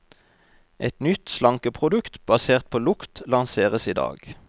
Et nytt slankeprodukt basert på lukt, lanseres i dag.